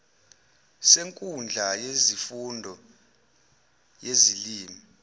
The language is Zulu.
senkundla yesifundo yezilimi